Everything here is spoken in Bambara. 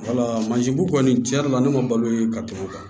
bu kɔni tiɲɛ yɛrɛ la ne ma balo ye ka tɛmɛ o kan